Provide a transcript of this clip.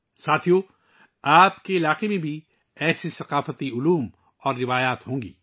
دوستو، آپ کے علاقے میں بھی ایسے ثقافتی انداز اور روایات ہوں گی